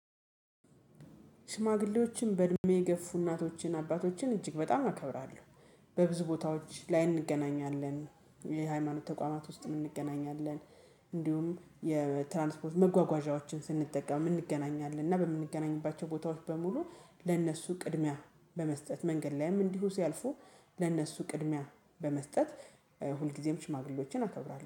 ሽማግሌዎችን በእድሜ የገፉ እናቶችን አባቶችን እጅግ በጣም አከብራለሁ። በብዙ ቦታዎች ላይ እንገናኛለን የሃይማኖት ተቋማት ውስጥ እንገናኛለን። እንዲሁም የትራንስፖርት መጓጓዣዎችን ስንጠቀም እንገናኛለን እና በምንገናኝባቸው ቦታዎች በሙሉ ለእነሱ ቅድሚያ በመስጠት መንገድ ላይም እንዲሁ ሲያልፉ ለእነሱ ቅድሚያ በመስጠት ሁልጊዜም ሽማግሌዎችን አከብራለሁ